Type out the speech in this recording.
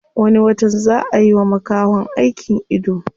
Wani watan zaa a yiwa makahon aikin ido.